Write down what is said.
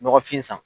Nɔgɔfin san